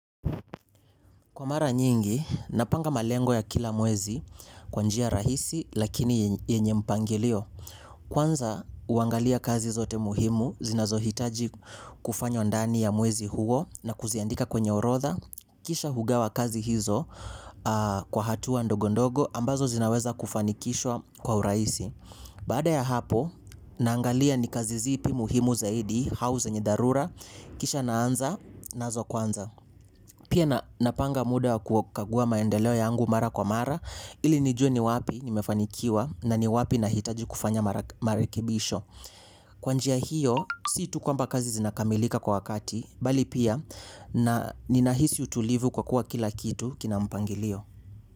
Kwa mara nyingi, napanga malengo ya kila mwezi kwa njia rahisi lakini yenye mpangilio. Kwanza, huangalia kazi zote muhimu, zinazohitaji kufanywa ndani ya mwezi huo na kuziandika kwenye orodha. Kisha hugawa kazi hizo kwa hatua ndogondogo ambazo zinaweza kufanikishwa kwa urahisi. Baada ya hapo, naangalia ni kazi zipi muhimu zaidi, au zenye dharura, kisha naanza, nazo kwanza. Pia napanga muda wa kukagua maendeleo yangu mara kwa mara ili nijue ni wapi nimefanikiwa na ni wapi nahitaji kufanya marekebisho. Kwa njia hiyo si tu kwamba kazi zinakamilika kwa wakati bali pia na ninahisi utulivu kwa kuwa kila kitu kina mpangilio.